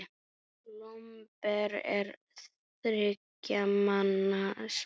Lomber er þriggja manna spil.